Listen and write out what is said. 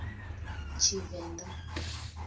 tshivenda